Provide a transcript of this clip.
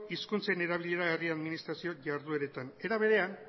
hizkuntzen erabilera herri administrazio jardueretan era berean